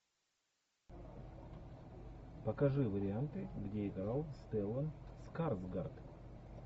покажи варианты где играл стеллан скарсгард